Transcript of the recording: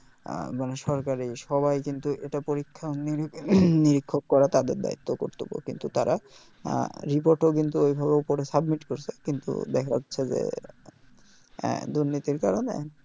মানে সরকারি সবাই এটা কিন্তু এটা পরীক্ষা নিরীক্ষ করা তাদের দায়িত্ব কর্তব্য কিন্তু তারা report ও কিন্তু ওইভাবে করে submit ও করছে কিন্তু দ্যাখা যাচ্ছে যে উম দুর্নীতির কারণে